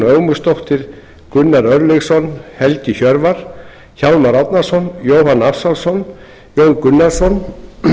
ögmundsdóttir gunnar örlygsson helgi hjörvar hjálmar árnason jóhann ársælsson jón gunnarsson